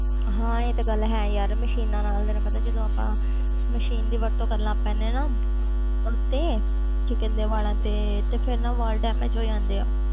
ਹਾਂ ਇਹ ਤੇ ਗੱਲ ਹੈ ਯਾਰ machines ਦਾ ਹੁਣ ਤੈਨੂੰ ਪਤਾ ਜਦੋਂ ਆਪਾਂ machine ਦੀ ਵਰਤੋਂ ਕਰਨ ਲੱਗ ਪੈਂਦੇ ਹਾਂ ਉਹ ਤੇ ਕੀ ਕਹਿੰਦੇ ਆ ਵਾਲਾਂ ਤੇ, ਤੇ ਫਿਰ ਨਾ ਵਾਲ damage ਹੋ ਜਾਂਦੇ ਆ